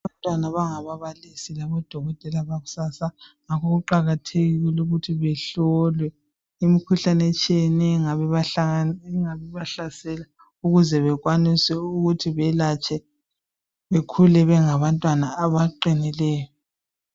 Abantwana bangababalisi labodokotela bakusasa, ngakho kuqakathekile ukuthi behlolwe imikhuhlane etshiyeneyo engabe ibahlasela ukuze bekwanise ukuthi belatshwe bekhule bengabantwana abaqinileyo.